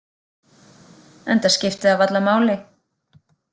Enda skipti það varla máli.